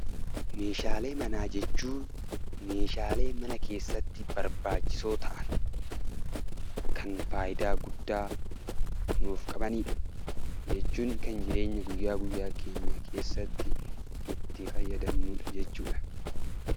Meeshaalee manaa jechuun meeshaalee mana keessatti barbaachisoo ta'an kan faayidaa guddaa nuuf qabanii dha. Kana jechuun kan jireenya guyyaa guyyaa keenya keessatti itti fayyadamnuu dha jechuu dha.